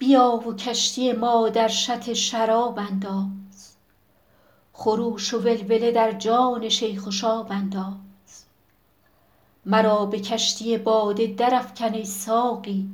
بیا و کشتی ما در شط شراب انداز خروش و ولوله در جان شیخ و شاب انداز مرا به کشتی باده درافکن ای ساقی